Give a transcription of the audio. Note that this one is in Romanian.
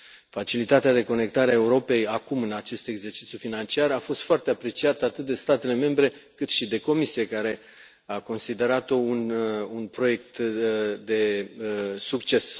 Facilitatea de conectare a Europei acum, în acest exercițiu financiar, a fost foarte apreciată atât de statele membre, cât și de Comisie, care a considerat o un proiect de succes.